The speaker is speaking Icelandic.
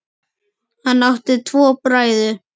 Hann átti tvo bræður.